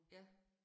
Ja